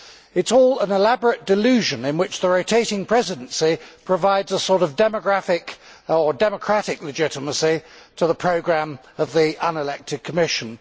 It is all an elaborate delusion in which the rotating presidency provides a sort of demographic or democratic legitimacy to the programme of the unelected Commission.